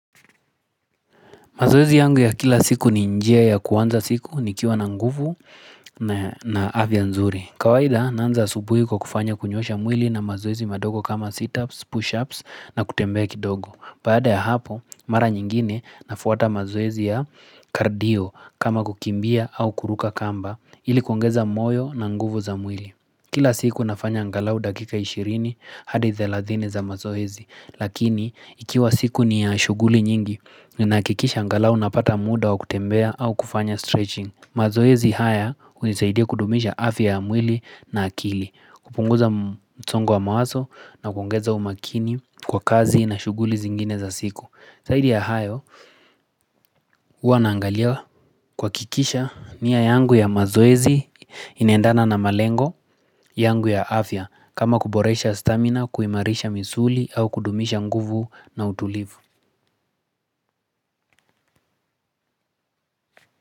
Mazoezi yangu ya kila siku ni njia ya kuanza siku nikiwa na nguvu na afya nzuri. Kawaida naanza asubuhi kwa kufanya kunyoosha mwili na mazoezi madogo kama sit-ups, push-ups na kutembea kidogo. Baada ya hapo, mara nyingine nafuata mazoezi ya cardio kama kukimbia au kuruka kamba ilikuongeza moyo na nguvu za mwili. Kila siku nafanya angalau dakika 20 hadi 30 za mazoezi, lakini ikiwa siku ni ya shughuli nyingi, ninahakikisha angalau napata muda wa kutembea au kufanya stretching. Mazoezi haya hunisaidia kudumisha afya ya mwili na akili, kupunguza msongo wa mawazo na kuongeza umakini kwa kazi na shughuli zingine za siku. Zaidi ya hayo huwa naangaliwa kuhakikisha nia yangu ya mazoezi inaendana na malengo yangu ya afya kama kuboresha stamina kuimarisha misuli au kudumisha nguvu na utulivu.